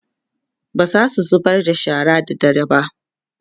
bazasu zubar da shara da dare ba